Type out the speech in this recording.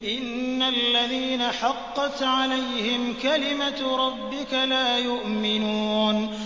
إِنَّ الَّذِينَ حَقَّتْ عَلَيْهِمْ كَلِمَتُ رَبِّكَ لَا يُؤْمِنُونَ